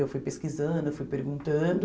Eu fui pesquisando, fui perguntando...